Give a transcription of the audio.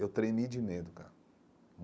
Eu tremi de medo, cara.